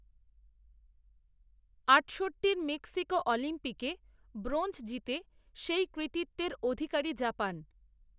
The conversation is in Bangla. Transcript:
আটষট্টির মেক্সিকো অলিম্পিকে ব্রোঞ্জ জিতে সেই কৃতিত্বের অধিকারী জাপান